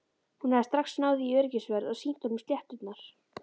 Hún hafði strax náð í öryggisvörð og sýnt honum sletturnar.